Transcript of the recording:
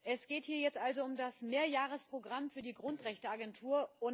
Es geht hier jetzt also und das Mehrjahresprogramm für die Grundrechteagentur.